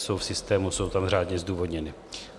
Jsou v systému, jsou tam řádně zdůvodněny.